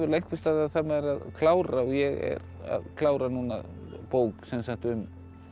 einhvers staðar þarf maður að klára og ég er að klára núna bók um